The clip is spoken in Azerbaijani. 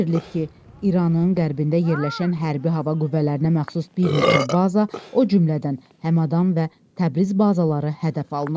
Bildirilib ki, İranın qərbində yerləşən hərbi hava qüvvələrinə məxsus bir neçə baza, o cümlədən Həmədan və Təbriz bazaları hədəf alınıb.